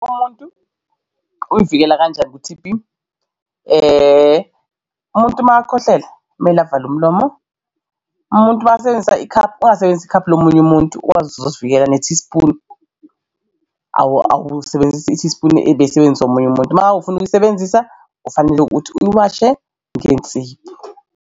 Umuntu uzivikela kanjani ku-T_B? Umuntu makakhwehlela kumele avale umlomo. Umuntu makasebenzisa ikhaphu ungasebenzisa ikhaphu lomunye umuntu muntu wazi ukuth uzosivikela ne-teaspoon awulisebenzisi teaspoon ebeyisebenziswa omunye umuntu. Uma ufuna ukuyisebenzisa kufanele ukuthi uyiwashe ngensipho.